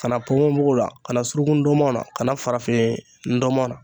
Kana pokon mugu la ,kana surunkun ndɔmɔn na, ka na farafin ntɔmɔn na.